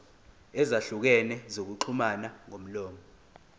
ezahlukene zokuxhumana ngomlomo